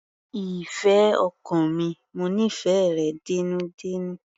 Ìfẹ́ ọkàn mi, mo nífẹ̀ẹ́ rẹ dénúdénú.